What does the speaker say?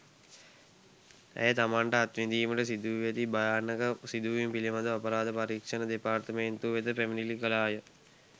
ඇය තමන්ට අත්විඳීමට සිදුවී ඇති භයානක සිදුවීම් පිළිබඳව අපරාධ පරීක්‍ෂණ දෙපාර්තමේන්තුව වෙත පැමිණිලි කළාය.